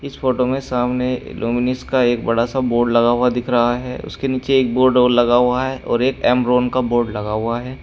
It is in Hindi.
इस फोटो में सामने लुमिनस का एक बड़ा सा बोर्ड लगा हुआ दिख रहा है उसके नीचे एक बोर्ड और लगा हुआ है और एक एमरोंन का बोर्ड लगा हुआ है।